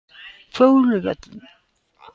Fjóluvöllum